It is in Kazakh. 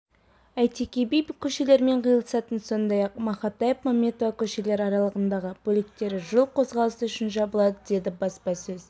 әйтеке би көшелерімен қиылысатын сондай-ақ мақатаев-мәметова көшелері аралығындағы бөліктері жол қозғалысы үшін жабылады деді баспасөз